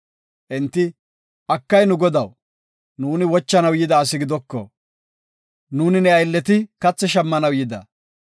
Enti, “Akay, nu godaw, nuuni wochanaw yida asi gidoko. Nuuni ne aylleti kathi shammanaw yida.